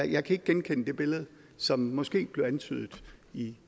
jeg kan ikke genkende det billede som måske blev antydet i